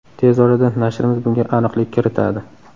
Tez orada nashrimiz bunga aniqlik kiritadi.